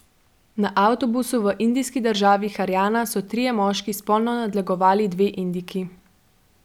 Na avtobusu v indijski državi Harjana so trije moški spolno nadlegovali dve Indijki.